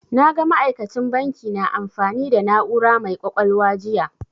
Na ga ma'aikacin banki na amfani da na'ura mai ƙwaƙwalwa jiya.